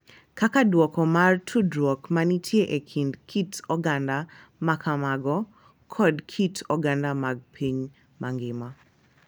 Kaka duoko mar tudruok ma nitie e kind kit oganda ma kamago kod kit oganda mag piny mangima.